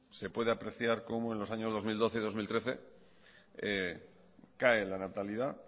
se puede apreciar como en los años dos mil doce y dos mil trece cae la natalidad